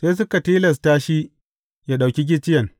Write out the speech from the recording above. Sai suka tilasta shi ya ɗauki gicciyen.